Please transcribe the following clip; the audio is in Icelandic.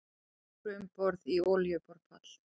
Fóru um borð í olíuborpall